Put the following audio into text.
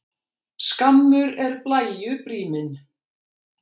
Skammur er blæju bríminn.